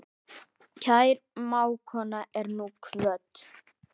Kær mágkona er nú kvödd.